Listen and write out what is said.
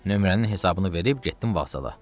Nömrənin hesabını verib getdim vağzala.